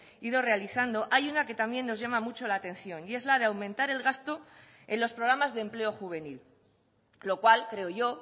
ido realizando hay una que también nos llama mucho la atención y es la de aumentar el gasto en los programas de empleo juvenil lo cual creo yo